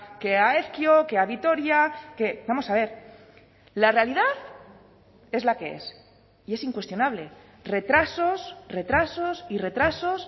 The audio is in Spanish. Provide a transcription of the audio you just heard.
que ha ezkio que a vitoria que vamos a ver la realidad es la que es y es incuestionable retrasos retrasos y retrasos